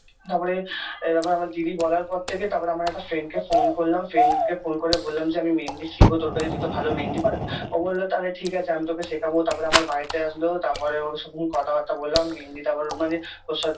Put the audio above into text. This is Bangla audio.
তারপরে এ আমার দিদি বলার পর থেকে তারপরে আমার এক Friend -কে phone করলাম friend -কে phone করে বললাম যে আমি মেহেন্দি শিখবো তোর কাছে তুই তো ভালো মেহেন্দি পরাস ও বললো তাহলে ঠিক আছে আমি তোকে শেখাবো তারপরে আমার বাড়িতে আসলো তারপরে ওর সঙ্গে কথাবার্তা বললাম মেহেন্দি তার মানে ওর সাথে